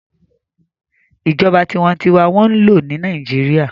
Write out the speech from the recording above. Ìjọba tinwatinwa n wọ́n lò ní Nàìjíríyà